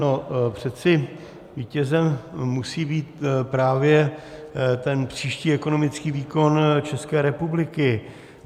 No, přece vítězem musí být právě ten příští ekonomický výkon České republiky.